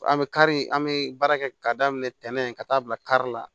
An bɛ kari an bɛ baara kɛ ka daminɛ ntɛnɛn in ka taa bila kari la